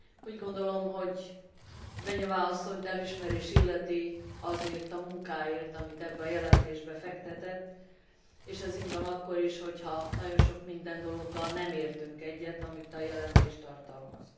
Úgy gondolom, hogy Beňová asszonyt elismerés illeti azért a munkáért, amit ebbe a jelentésbe fektetett, és ez így van akkor is, ha nagyon sok minden dologgal nem értünk egyet, amit a jelentés tartalmaz.